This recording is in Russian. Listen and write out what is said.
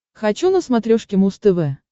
хочу на смотрешке муз тв